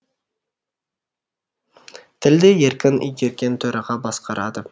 тілді еркін игерген төраға басқарады